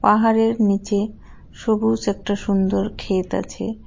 পাহাড়ের নীচে সবুজ একটা সুন্দর ক্ষেত আছে।